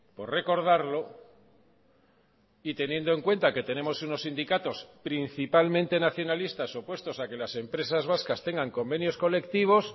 por recordarlo y teniendo en cuenta que tenemos unos sindicatos principalmente nacionalistas opuestos a que las empresas vascas tengan convenios colectivos